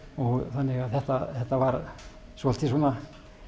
þannig að þetta þetta var svolítið svona